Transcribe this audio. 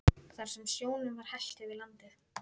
Þar sem sjónum var hellt yfir landið.